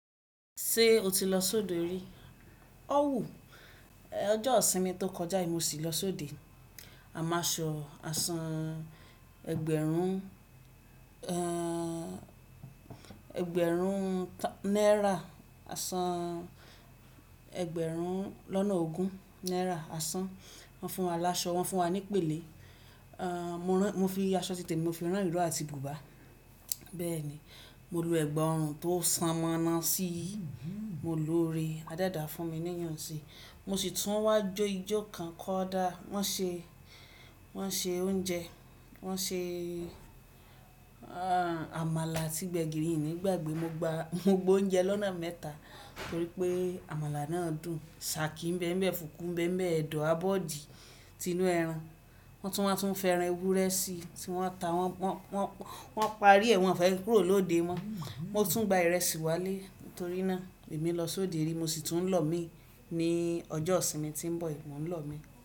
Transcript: Ṣé o ti lọ sóde rí? Ó wù. Ọjọ́ ìsinmi tó kọjá yìí mo sì lọ sóde. A máa ṣọ àa sán ẹgbẹ̀rún, ẹgbẹ̀rún náírà, àsán ẹgbẹ̀rún lọ́nà ogún náírà, àsán wọ́n fún wa láṣọ, wọ́n fún wa ní pèlè. Mo fi aṣọ ti tè mi mo fi rán ìró àti bùbá. Bẹ́ẹ̀ ni, mo lo ẹ̀gbà ọrùn tó súnmọ́ ná sí i, mo lo re, ade da fún mi níyànṣí. Mo sì tún wá jó ijó kan kọ́ dá. Wọ́n ṣe, wọ́n ṣe oúnjẹ, wọ́n ṣe àmàlà àti gbẹ̀gìrì, í ni gbàgbé mo gba, mo gba oúnjẹ lọ́nà mẹ́ta torí pé àmàlà náà dùn. Sàákí ń bẹ́ẹ̀ ń bẹ́ẹ̀, fùkú ń bẹ́ẹ̀ ń bẹ́ẹ̀, ẹ̀dọ̀, abọ́, òdì, tinu ẹran. Wọ́n tún wáa tún fi ẹran ewúrẹ́ sí i tí wọ́n ta, wọ́n, wọ́n, wọ́n parí ẹ̀ wọ́n fẹ́ kúrò lóde mọ́. Mo tún gba ìrẹsì wálé torí náà èmi lọ sóde rí mo sì tún lọ̀ mí ní ọjọ́ ìsinmi tí ń bọ̀ yìí, mo ń lọ̀ mí.